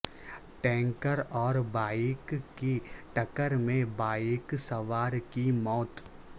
tanker اور bike کی ٹکر میں بائیک سوار کی موت